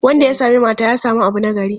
Wanda ya sami mata, ya sami abu nagari.